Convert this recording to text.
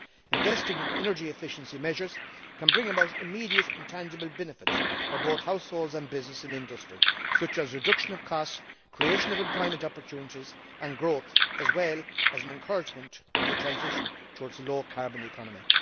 Investing in energy efficiency measures can bring about immediate and tangible benefits for both households and business in industry, such as reduction of costs, creation of employment opportunities and growth, as well as an encouragement in the transition towards a low carbon economy.